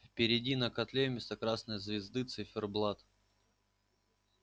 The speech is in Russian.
впереди на котле вместо красной звезды циферблат